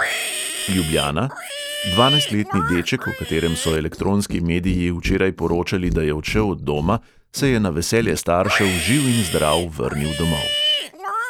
Ljubljana: dvanajstletni deček, o katerem so elektronski mediji včeraj poročali, da je odšel od doma, se je na veselje staršev živ in zdrav vrnil domov.